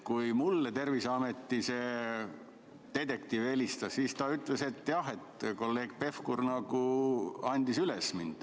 Kui mulle Terviseameti detektiiv helistas, siis ta ütles, et kolleeg Pevkur andis mind üles.